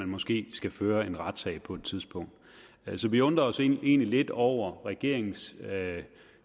måske skal føre en retssag på et tidspunkt så vi undrer os egentlig lidt over regeringens